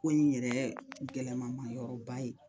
Ko in yɛrɛ gɛlɛman ma yɔrɔba ye